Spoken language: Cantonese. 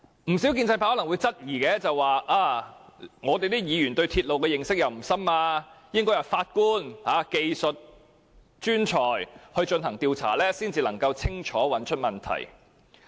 建制派可能會說，議員對鐵路認識不深，應由法官和技術專才進行調查才能清楚找出問題所在。